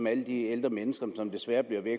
alle de ældre mennesker som desværre bliver væk